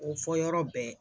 O fɔ yɔrɔ bɛɛ